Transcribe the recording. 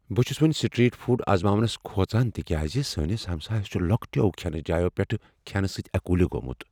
بہٕ چھس وۄنۍ سٹریٹ فوڈ آزماونس کھوژان تکیازِ سٲنس ہمسایس چھ لۄکٹیو کھینہٕ جایو پیٹھ کھینہٕ سۭتۍ ایکولی گومت۔